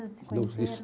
Aonde eles se conheceram?